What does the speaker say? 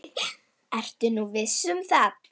Ertu nú viss um það?